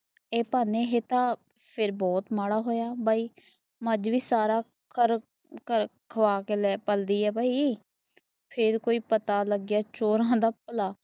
ਏ ਪਾਨੇ ਹੈਂ ਤਾਂ ਬਹੁਤ ਮਾੜਾ ਹੋਇਆ ਭਾਈ ਮੱਝ ਵੀ ਸਾਰਾ ਖਵਾ ਕੇ ਪਲਦੀ ਹੈ ਭਾਈ ਫੇਰ ਕੋਈ ਪਤਾ ਲੱਗਦਾ ਚੋਰ ਹੋਂਦ ਭਲਾ